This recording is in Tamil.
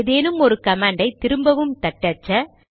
ஏதேனும் ஒரு கமாண்டை திரும்பவும் தட்டச்ச